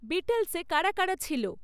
বিটলসে কারা কারা ছিল?